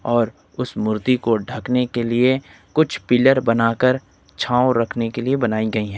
और उस मूर्ति को ढकने के लिए कुछ पिलर बनाकर छांव रखने के लिए बनाई गई है।